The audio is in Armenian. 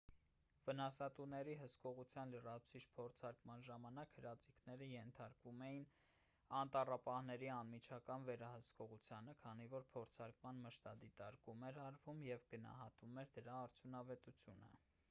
վնասատուների հսկողության լրացուցիչ փորձարկման ժամանակ հրաձիգները ենթարկվում էին անտառապահների անմիջական վերահսկողությանը քանի որ փորձարկման մշտադիտարկում էր արվում և գնահատվում էր դրա արդյունավետությունը